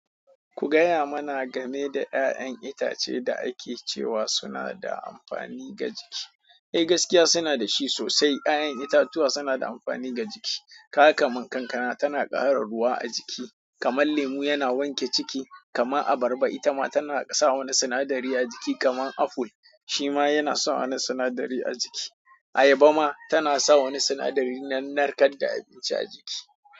Ku gaya mana game da ƴaƴan itace da ake cewa suna da amfani ga jiki. Eh gaskiya suna da shi sosai. Ƴaƴan itatuwa suna da amfani ga jiki. Kaga ka man kankana tana ƙara ruwa a jiki, kaman lemu yana wanke ciki, kama abarba ita ma tana sa wa ni sinadari a jiki kaman aful shima yana sawa ni sinadari a jiki. Ayaba ma tana sawa na sinadari na narkar da abinci a jiki.